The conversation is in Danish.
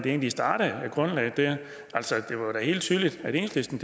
egentlig startede altså det var da helt tydeligt at enhedslisten